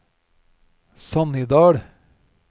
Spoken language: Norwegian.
Sannidal